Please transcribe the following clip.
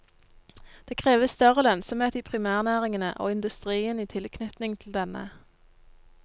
Det kreves større lønnsomhet i primærnæringene og industrien i tilknytning til denne.